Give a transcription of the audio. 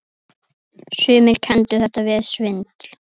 Sumir kenndu þetta við svindl.